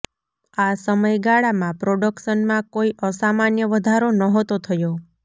આ સમય ગાળામાં પ્રોડકશનમાં કોઇ અસામાન્ય વધારો નહોતો થયો